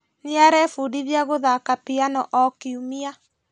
Nĩarebundithia gũthaka piano o kiumia